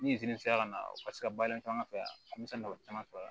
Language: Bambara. Nizeri sera ka na u ka se ka baara in kɛ an fɛ yan a mansaw caman sɔrɔ